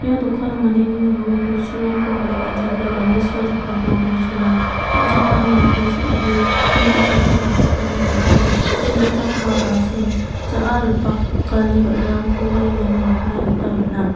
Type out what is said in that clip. ia dokano mandeni nanggipa bosturangko palenga jekai babilsio jakalani bosturang song·chakani me·dik sam·dik mi bi·jakko sachakani bati chi ra·chakgipa basing ja·a ripakani ba·rarangkoba iano nikna gita man·a.